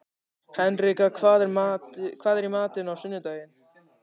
Henrika, hvað er í matinn á sunnudaginn?